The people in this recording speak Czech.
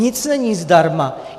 Nic není zdarma!